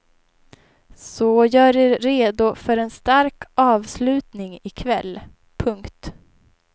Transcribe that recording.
Så gör er redo för en stark avslutning i kväll. punkt